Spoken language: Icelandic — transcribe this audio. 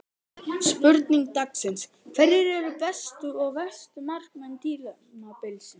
Spurning dagsins: Hverjir eru bestu og verstu markmenn tímabilsins?